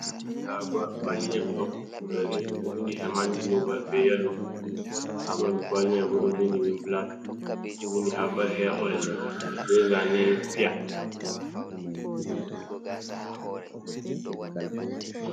Ndaa kuwali, ɗon dari ɗo binndi heman gulobal, be yelo haa ɓanndu kuwali may bo, ɗo binndi be bulak, ɗo binndi haabal heya oyel be zaane piya.